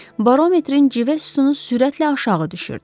Barometrin cive sütunu sürətlə aşağı düşürdü.